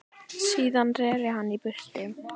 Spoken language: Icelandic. Síðan reri hann í burtu.